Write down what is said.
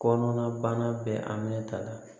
Kɔnɔnabana bɛ an minɛ ta la